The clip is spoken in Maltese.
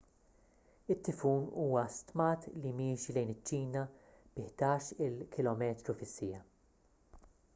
it-tifun huwa stmat li miexi lejn iċ-ċina bi ħdax-il kph